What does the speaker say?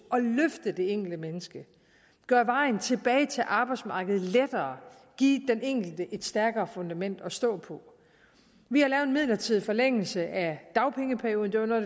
at løfte det enkelte menneske gøre vejen tilbage til arbejdsmarkedet lettere og give den enkelte et stærkere fundament at stå på vi har lavet en midlertidig forlængelse af dagpengeperioden det var noget